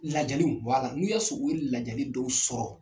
Lajaliw n'u y'a sɔrɔ u ye lajali dɔw sɔrɔ.